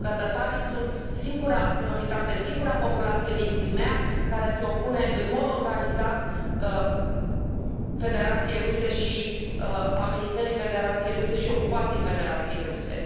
Pentru că tătarii sunt singura minoritate, singura populație din Crimeea care se opune în mod organizat Federației Ruse, amenințării și ocupației Federației Ruse.